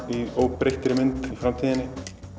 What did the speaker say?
í óbreyttri mynd í framtíðinni